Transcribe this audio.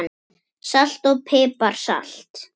Salt og pipar salat